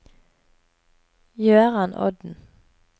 Jøran Odden